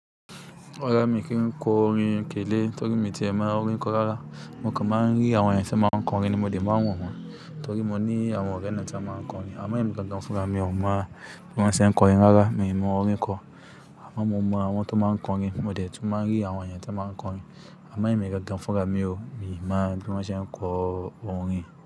Oya mi kì í kọ orin kélé torí mi ti ẹ mọ orin kọ rárá. Mo kàn máa ń rí àwọn èèyàn tí máa ń kọrin ní mo dẹ̀ máa ń wo wọ́n torí mo ní àwọn ọ̀rẹ́ náà tí máa ń kọrin. A mọ emi gangan fúnra mi ò mọ̀ bí wọ́n ṣe ń kọ orin rárá, mi ò mọ orin kọ. Àmọ mo mọ àwọn tán máa ń kọrin, mo dẹ̀ tun máa ń rí àwọn èèyàn tí wọ́n máa ń kọrin. A mọ èmi gangan fúnra mi ò, mi mọ bí wọ́n ṣe ń kọ orin.